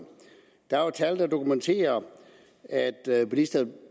der er jo tal der dokumenterer at bilisterne